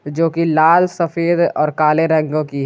जो कि लाल सफेद और काले रंगों की है।